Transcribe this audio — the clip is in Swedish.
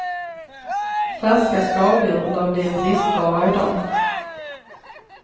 Färska skaldjur lär bli en bristvara idag.